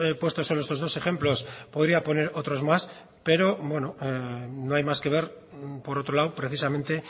puesto solo estos dos ejemplos podría poner otros más pero no hay más que ver por otro lado precisamente